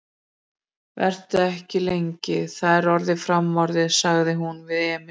Vertu ekki lengi, það er orðið framorðið, sagði hún við Emil.